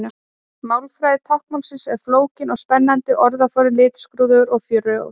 Málfræði táknmálsins er flókin og spennandi og orðaforðinn litskrúðugur og frjór.